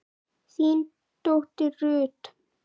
þín dóttir Ruth.